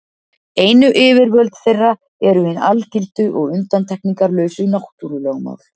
Einu yfirvöld þeirra eru hin algildu og undantekningarlausu náttúrulögmál.